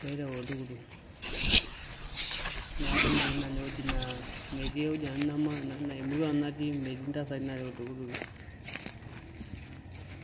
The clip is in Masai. peereu oltukutuk neku metii nanu ewueji naa emurua nanu natii metii intasati naareu oltukutuki.